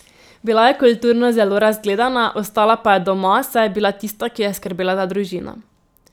Bila je kulturno zelo razgledana, ostala pa je doma, saj je bila tista, ki je skrbela za družino.